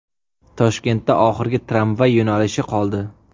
Toshkentda oxirgi tramvay yo‘nalishi qoldi.